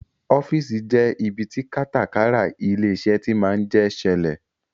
Ọ́fíìsì jẹ ibi tí kátàkárà ilé-iṣẹ́ tí máa ń jẹ ṣẹlẹ̀